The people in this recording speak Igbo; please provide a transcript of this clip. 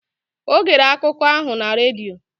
O gere akụkọ ahụ na redio